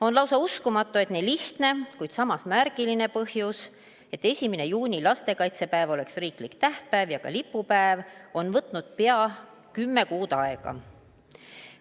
On lausa uskumatu, et nii lihtne, kuid samas märgiline põhjus, et 1. juuni, lastekaitsepäev, oleks riiklik tähtpäev ja lipupäev, on võtnud pea 10 kuud aega.